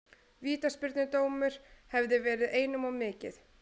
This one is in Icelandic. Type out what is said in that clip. Vítaspyrnudómur hefði verið einum of mikið.